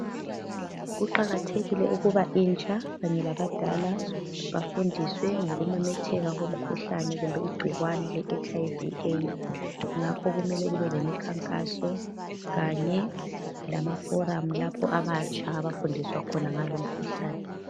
Kuqakathekile ukuba intsha kanye labadala bafundiswe ngokomemetheka komkhuhlane kumbe igcikwani le etshi ayi vi/ eyidzi, ngakho kumele kube lemikhankaso kanye lamaforamu lapho abatsha abafundiswa khona ngal' umkhuhlane.